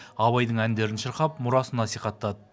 абайдың әндерін шырқап мұрасын насихаттады